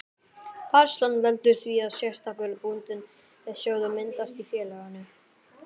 Færslan veldur því að sérstakur bundinn sjóður myndast í félaginu.